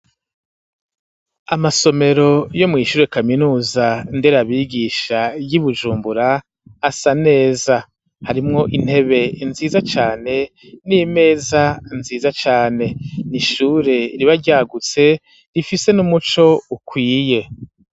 Amasomero yo mw'ishure kaminuza nderabigisha y'i bujumbura asa neza harimwo intebe nziza cane n'imeza nziza cane n'ishure riba ryagutse rifise n'umuco ukwiye.